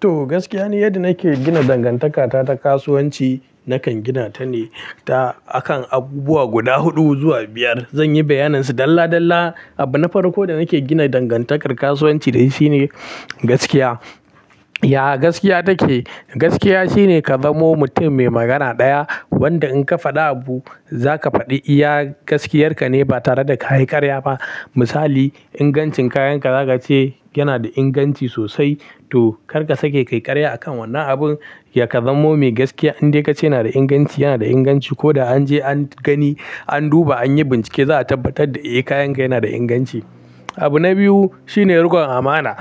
To, gaskiya ni yadda nake gina dangantakata ta kasuwanci nakan gina ta ne ta a kan abubuwa guda huɗu zuwa biyar. Zan yi bayyaninsu dalla dalla. Abu na farko da nake gina dangantakar kasuwanci da shi shine gaskiya. Yaya gaskiya take? Gaskiya shine ka zamo mutum mai magana ɗaya wanda in ka faɗa abu za ka faɗi. Iya gaskiyarka ne ba tare da ka yi ƙarya ba. Misali ingancin kayanka za ka ce yana da inganci sosai to kar ka sake kai ƙarya a kan wannan abun. Ya ka zamo mai gaskiya in dai ka ce yana da inganci, yana da inganci ko da an je an gani, an duba, an yi bincike za a tabbatar da eh kayanka yana da inganci. Abu na biyu shine riƙon amana.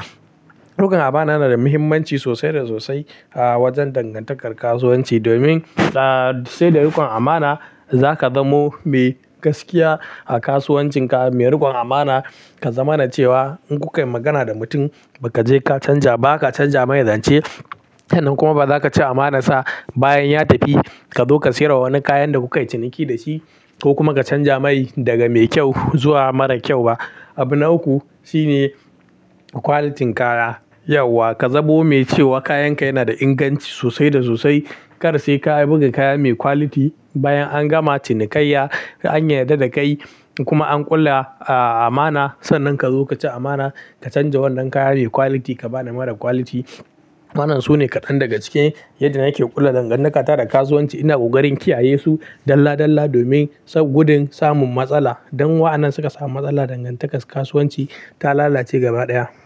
Riƙon amana yana da muhimmanci sosai da sosai a wajen dangantakar kasuwanci. Domin sai da riƙon amana za ka zamo mai gaskiya a kasuwancinka, mai riƙon amana. Ka zama na cewa in kukai magana da mutum baka je ka canja, ba ka canja mai zance. Sannan kuma ba za ka ci amanar sa bayan ya tafi ka zo ka siyarwa wani kayan da kuka yi ciniki da shi ko kuma ka canja mai daga mai kyau zuwa mara kyau ba. Abu na uku shine quality din kaya. Yauwa ka zabo mai cewa kayanka yana da inganci sosai da sosai. Kar sai ka yi buga kaya mai quality bayan an gama cinikayya an yarda da kai kuma an kula a amana. Sannan ka zo ka ci amana ka canja wannan kaya mai quality ka ba da mara quality. Waɗannan su ne kaɗan daga cikin yadda nake ƙulla dangantaka da kasuwanci. Ina ƙoƙari in kiyaye su dalla-dalla domin gudun samun matsala. Dan in wa'anan suka samu matsala dangantakar kasuwanci ta lalace gaba ɗaya.